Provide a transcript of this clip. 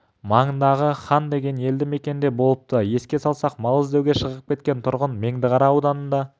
маңындағы хан деген елді мекенде болыпты еске салсақ мал іздеуге шығып кеткен тұрғын меңдіқара ауданында